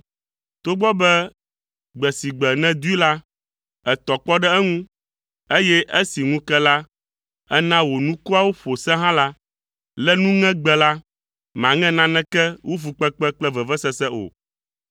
togbɔ be gbe si gbe nèdoe la, ètɔ kpɔ ɖe eŋu, eye esi ŋu ke la, èna wò nukuawo ƒo se hã la, le nuŋegbe la, màŋe naneke wu fukpekpe kple vevesese o.